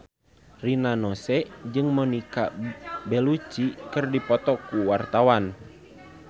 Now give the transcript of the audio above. Rina Nose jeung Monica Belluci keur dipoto ku wartawan